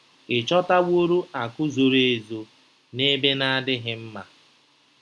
Ị̀ chọtaworo akụ̀ zoro ezo n'ebe na-adịghị mma?